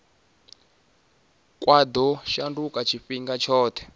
kwa ḓo shanduka tshifhinga tshoṱhe